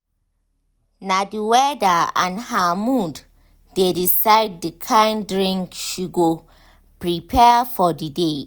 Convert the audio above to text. na the weather and her mood dey decide the kind drink she go prepare for the day.